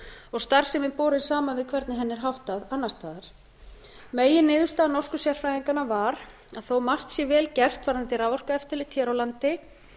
og starfsemin borin saman við hvernig henni er háttað annars staðar meginniðurstaða norsku sérfræðinganna var að þó að margt sé vel gert varðandi raforkueftirlit hér á landi